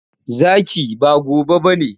Zaki, ba gobe ba ne.